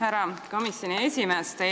Härra komisjoni esimees!